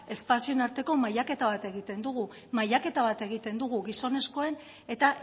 espazioen arteko mailaketa bat egiten dugu mailaketa bat egiten dugu gizonezkoen eta